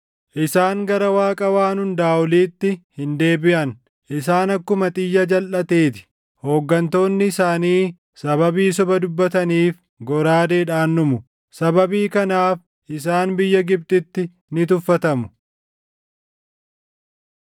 Isaan gara Waaqa Waan Hundaa Oliitti hin deebiʼan; isaan akkuma xiyya jalʼatee ti. Hooggantoonni isaanii sababii soba dubbataniif goraadeedhaan dhumu. Sababii kanaaf isaan biyya Gibxitti ni tuffatamu.